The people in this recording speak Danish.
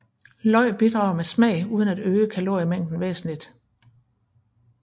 Løg bidrager med smag uden at øge kaloriemængden væsentligt